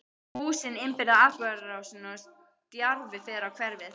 Húsin innbyrða atburðarásina og stjarfi fer á hverfið.